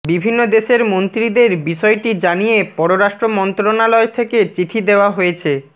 বিভিন্ন দেশের মন্ত্রীদের বিষয়টি জানিয়ে পররাষ্ট্র মন্ত্রণালয় থেকে চিঠি দেওয়া হয়েছে